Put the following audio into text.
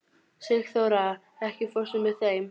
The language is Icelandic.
Sigþóra, ekki fórstu með þeim?